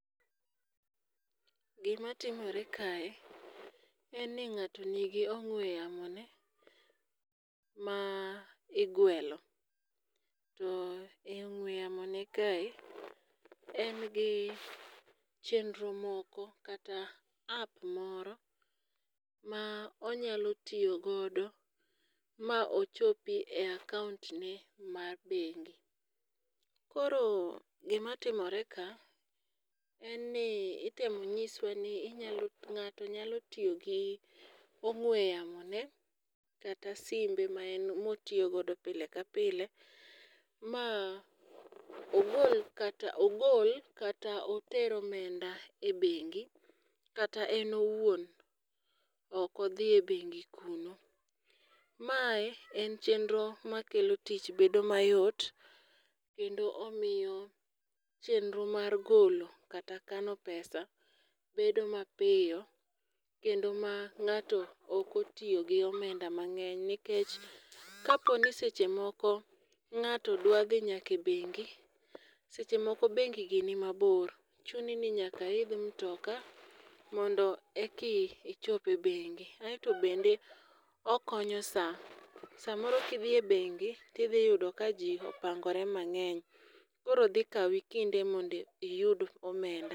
Gima timore kae, en ni ng'ato nigi ong'we yamone ma igwelo. To e ong'we yamone kae, engi chendro moko kata app moro ma onYalo tiyogodo ma ochopi e account ne mar bengi. Koro gima timore ka, en ni itemo nyiswa ni ng'ato nyalo tiyo gi ong'we yamone kata simbe motiyogodo pile ka pile ma ogol kata oter omenda e bengi kata en owuon ok odhi e bengi kuno. Mae en chenro makelo tich bedo mayot , kendo omiyo chienro mar golo kata kano pesa bedo mapiyo kendo ma ng'ato ok otiyo gi omenda mang'eny nikech kaponi seche moko ng'ato dwa dhi e bengi, sechemoko bengigi ni mabor . Chuni ni nyaka iidh mtokaa mondo eki ichop ebengi. Aeto bende okonyo saa. Saa moro kidhi e bengi tiyudo ka ji opangore mang'eny, koro dhi kawi kinde mondo iyud omenda.